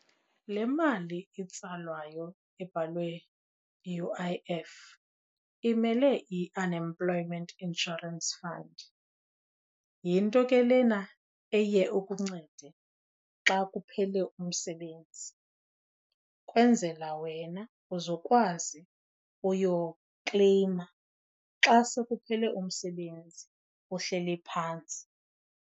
Le mali itsalwayo ebhalwe U_I_F imele i-Unemployment Insurance Fund. Yinto ke lena eye ikuncede xa kuphele umsebenzi, kwenzela wena uzukwazi uyokleyima xa sekuphele umsebenzi uhleli phantsi.